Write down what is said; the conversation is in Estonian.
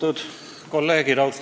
Austatud kolleegid!